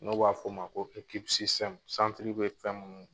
N' b'a fɔ o ma ko ekipu sisitɛmu santiri be fɛn munnu